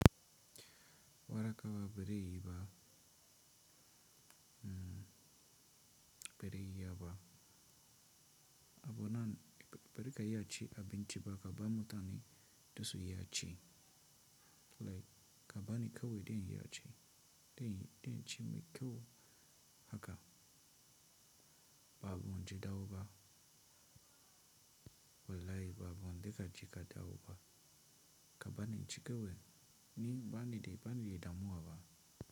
Wara kawai ba zai yiba Hmm ba zan iya ba, abbunan ba za ka iya ci abinci ba ka bar mutani dasun iya ci. Like ka bar ni kawai zan iya ci zan zen ci mai kyau haka ba muji dauba. Walai ba bon dai ka je ka dawo ba kaba ni ci kawai ni bani da bani da damuwa ba.